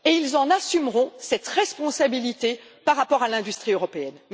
ils en assumeront alors cette responsabilité par rapport à l'industrie européenne.